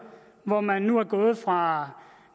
hvor man nu er gået fra